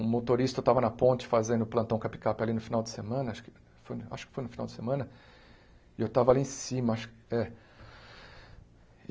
Um motorista tava na ponte fazendo plantão com a picape ali no final de semana, acho que foi acho que foi no final de semana, e eu estava ali em cima acho. É